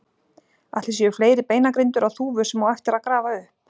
Ætli séu fleiri beinagrindur á Þúfu sem á eftir að grafa upp?